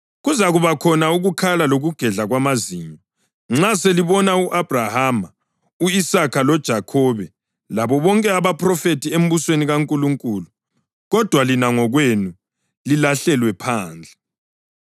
Kuzakuba khona ukukhala lokugedla kwamazinyo nxa selibona u-Abhrahama, u-Isaka loJakhobe labo bonke abaphrofethi embusweni kaNkulunkulu, kodwa lina ngokwenu lilahlelwe phandle.